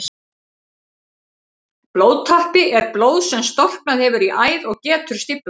Blóðtappi er blóð sem storknað hefur í æð og getur stíflað hana.